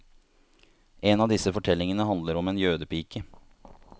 En av disse fortellingene handler om en jødepike.